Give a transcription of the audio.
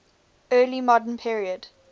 early modern period